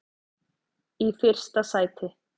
í fyrsta sæti.